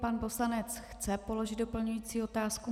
Pan poslanec chce položit doplňující otázku.